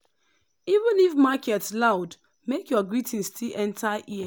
even if market loud make your greeting still enter ear.